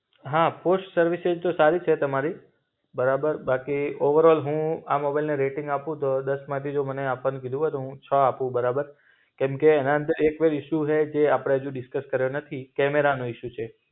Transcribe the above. હા push services તો સારી છે તમારી. બરાબર બાકી ઓવરઑલ હું આ મોબાઈલને રેટિંગ આપું તો દસમાંથી જો મને આપવાનું કીધું હોય તો હું છ આપું બરાબર. કેમકે એના અંદર એકજ ઇશુ હૈ જે અપડે આજુ ડિસ્કસ કર્યો નથી, કેમેરાનો ઇશુ છે.